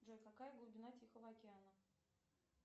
джой какая глубина тихого океана